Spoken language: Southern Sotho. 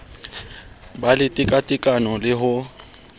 be le tekatekano le ho